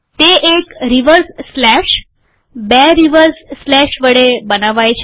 તે એક reverse slash બે રીવર્સ સ્લેશ વડે બનાવાય છે